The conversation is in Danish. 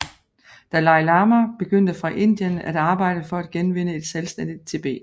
Dalai Lama begyndte fra Indien at arbejde for at genvinde et selvstændigt Tibet